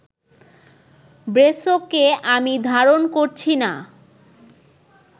ব্রেসোকে আমি ধারণ করছি না